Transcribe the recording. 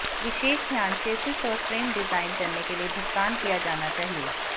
विशेष ध्यान चेसिस और frame design करने के लिए भुगतान किया जाना चाहिए